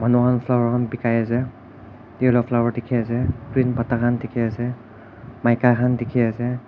manu khan flower khan bekai ase yellow flower dekhi ase green pata khan dekhi ase maika khan dekhi ase.